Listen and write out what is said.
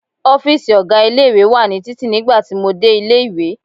Ọ́fíìsì ọ̀gá ilé-ìwé wa ní títì nígbà tí mo dé ilé-ìwé.